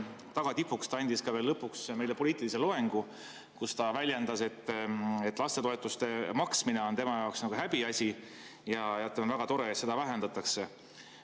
Tagatipuks pidas ta meile poliitilise loengu, kus ta väljendas, et lastetoetuste maksmine on tema jaoks nagu häbiasi ja on väga tore, et neid toetusi vähendatakse.